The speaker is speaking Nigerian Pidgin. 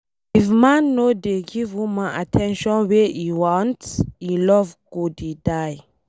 If man no dey give woman at ten tion wey e want, e love go dey die